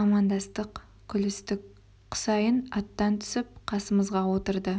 амандастық күлістік құсайын аттан түсіп қасымызға отырды